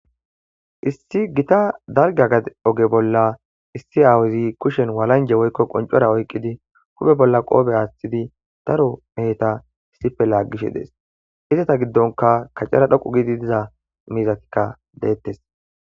issi gita dargagad oge bolla issi aawuzi kushen walanje woykko qoncora oykqidi hube bolla qoobe aaththidi daro mehta issipe laaggishe dees hizata giddonka kacara dhoqu gidi diza miizakikka deettes